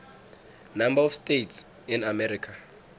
number of states in america